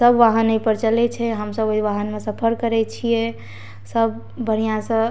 सब वाहन ऐ पर चले छे हम सब वही वाहन म सफर करे छिये सब बढ़िया सअ --